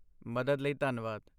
ਮਦਦ ਲਈ ਧੰਨਵਾਦ।